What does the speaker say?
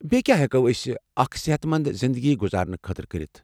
بیٚیہ کیٛاہ ہٮ۪کو أسۍ اکھ صحت منٛد زنٛدگی گُزارنہٕ خٲطرٕ کٔرتھ؟